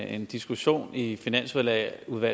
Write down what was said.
en diskussion i finansudvalget